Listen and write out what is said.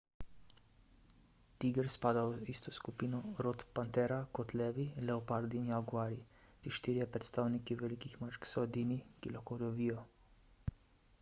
tiger spada v isto skupino rod panthera kot levi leopardi in jaguarji. ti štirje predstavniki velikih mačk so edini ki lahko rjovijo